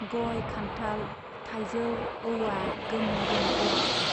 गय, खान्थाल, थाइजौ, औवा गोम गोम गुवारथार।